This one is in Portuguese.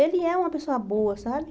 Ele é uma pessoa boa, sabe?